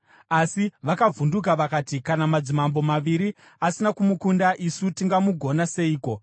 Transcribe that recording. Asi vakavhunduka vakati, “Kana madzimambo maviri asina kumukunda, isu tingamugona seiko?”